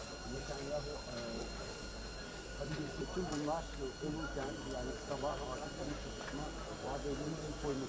Yəni axşam olarkən, yəni sabah artıq işə çıxmaq vadəsi qoyulmuşdu.